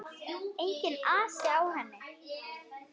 Enginn asi á henni.